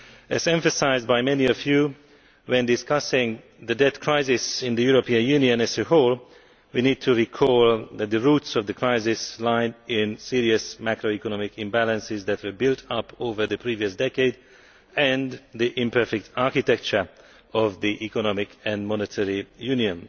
As emphasised by many of you, when discussing the debt crisis in the European Union as a whole, we need to recall that the roots of the crisis lie in serious macro economic imbalances which built up over the previous decade and in the imperfect architecture of the economic and monetary union.